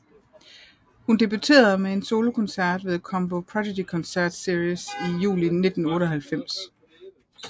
Hun debuterede med en solokoncert ved Kumho Prodigy Concert Series i juli 1998